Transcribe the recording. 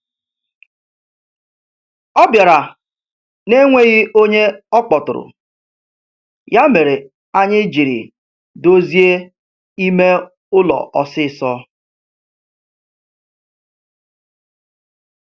Ọ bịara na'enweghị ọnye ọkpọtụrụ, ya mere anyị jiri dozie ime ụlọ ọsịsọ.